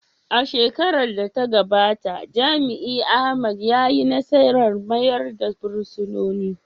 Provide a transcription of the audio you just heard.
A shekarar da ta gabata, jami’in Ahmed ya yi nasarar mayar da fursunonin.